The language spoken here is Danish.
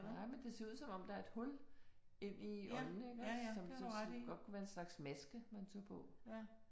Nej, men det ser ud som om der er et hul ind i øjnene iggås som så godt kunne være sådan en slags maske, man tog på